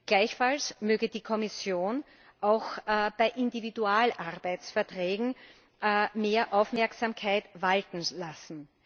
Gleichfalls möge die Kommission auch bei Individualarbeitsverträgen mehr Aufmerksamkeit walten lassen.